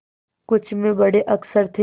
कुछ में बड़े अक्षर थे